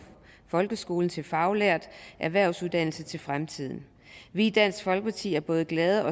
folkeskolen til faglært erhvervsuddannelser til fremtiden vi i dansk folkeparti er både glade